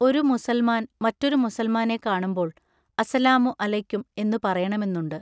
ഒരു മുസൽമാൻ മറെറാരു മുസൽമാനെ കാണുമ്പോൾ അസ്സലാമു അലൈക്കും എന്നു പറയണമെന്നുണ്ട്.